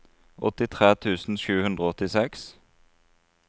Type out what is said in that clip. åttitre tusen sju hundre og åttiseks